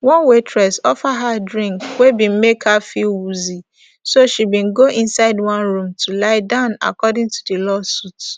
one waitress offer her drink wey bin make her feel woozy so she bin go inside one room to lie down according to di lawsuit